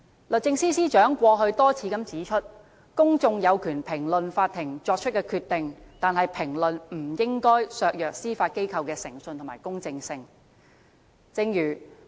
律政司司長過去多次指出，公眾有權評論法庭作出的決定，但評論不應該削弱司法機構的誠信和公正性。